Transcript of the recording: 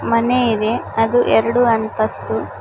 ಮನೆ ಇದೆ ಅದು ಎರಡು ಅಂತಸ್ತು.